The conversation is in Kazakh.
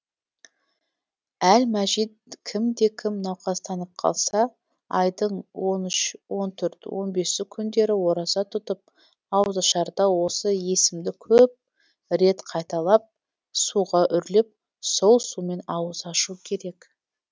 әл мәжид кімде кім науқастанып қалса айдың он үші он төрті он бесі күндері ораза тұтып ауызашарда осы есімді көп рет қайталап суға үрлеп сол сумен ауыз ашу керек